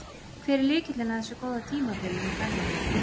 Hver er lykillinn að þessu góða tímabili hjá Garðari?